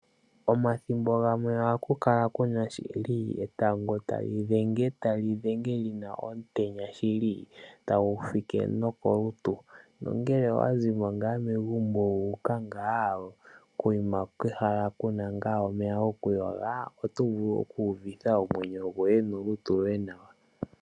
Omathimbo gamwe ohaku kala ku na shili etango tali dhenge. Ta li dhenge li na omutenya shili tagu fike nokolutu. Nongele owa zi mo ngaa megumbo wu uka ngaa kokuma kehala ku na ngaa omeya gokuyoga oto vulu okuuvitha omwenyo gwoye nolutu lwoye nawa.